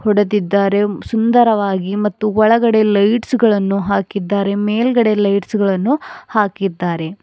ನೋಡುತಿದ್ದಾರೆ ಸುಂದರವಾಗಿ ಮತ್ತು ಒಳಗಡೆ ಲೈಟ್ಸ್ ಗಳನ್ನು ಹಾಕಿದ್ದಾರೆ ಮೇಲ್ಗಡೆ ಲೈಟ್ಸ್ ಗಳನ್ನು ಹಾಕಿದ್ದಾರೆ.